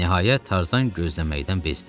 Nəhayət, Tarzan gözləməkdən bezdi.